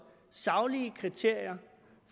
saglige kriterier